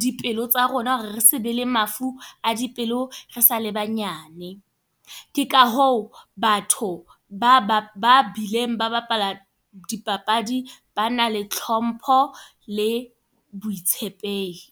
dipelo tsa rona hore re se be le mafu a dipelo, re sa le banyane. Ke ka hoo batho ba bileng ba bapala dipapadi. Ba na le hlompho le botshepehi.